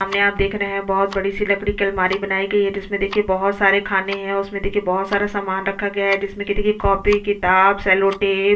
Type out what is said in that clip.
सामने आप देख रहै है बहोत बड़ी सी लकडी की अलमारी बनायीं गयी है जिसमे देखिये बहोत सारे खाने है उसमे देखिये बहोत सारा सामान रखा गया है जिसमे की देखिये काफी किताब सेल्लो टेप --